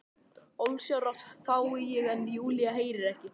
Ósjálfrátt hvái ég en Júlía heyrir ekki.